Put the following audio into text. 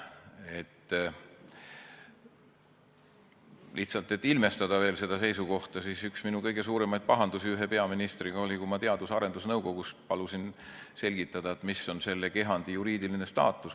Ütlen lihtsalt selleks, et ilmestada veel seda seisukohta, et minu üks kõige suuremaid pahandusi ühe peaministriga oli, kui ma Teadus- ja Arendusnõukogus palusin selgitada, mis on selle kehandi juriidiline staatus.